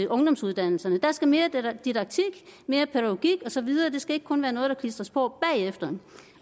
ungdomsuddannelserne der skal være mere didaktik mere pædagogik og så videre det skal ikke kun være noget der klistres på bagefter